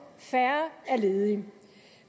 færre er ledige